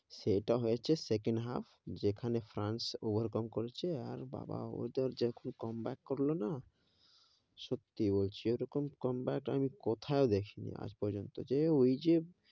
সেইটা হয়েছে, second half যেখানে ফ্রান্স overcome করেছে, আর বাবা ওইটার যখন comeback করলো না, সত্যি এরকম comeback আমি কোথাও দেখি নি আজ পর্যন্ত, যে ওই যে,